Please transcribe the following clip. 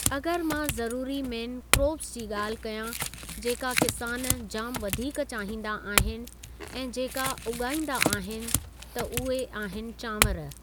अगरि मां ज़रूरी मेन क्रोप्स जी ॻाल्हि कया जेका किसान जामु वधीकु चाहींदा आहिनि ऐं जेका उॻाइंदा आहिनि त उहे आहिनि चांवरु।